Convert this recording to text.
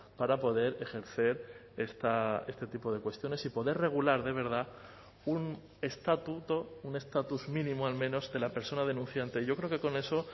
para poder ejercer este tipo de cuestiones y poder regular de verdad un estatuto un estatus mínimo al menos de la persona denunciante yo creo que con eso